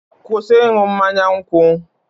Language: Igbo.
kwụsị ịṅụ mmanya nkwụ!